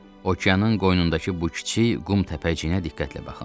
Okeanın qoynundakı bu kiçik qum təpəciyinə diqqətlə baxın.